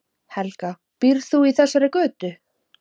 Helga: Býrð þú í þessari götu?